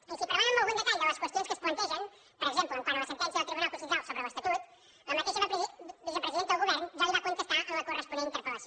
i si parlem amb algun detall de les qüestions que es plantegen per exemple quant a la sentència del tribunal constitucional sobre l’estatut la mateixa vicepresidenta del govern ja li va contestar en la corresponent interpel·lació